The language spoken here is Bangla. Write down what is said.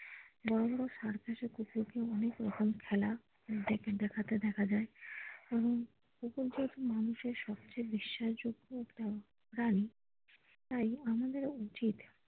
বড়ো বড়ো circus এ কুকুরকে অনেক রকম খেলা দেখাতে দেখা যায় এবং কুকুর যেহেতু মানুষের সবচেয়ে বিশ্বাসযোগ্য প্রাণী তাই আমাদের ও উচিত।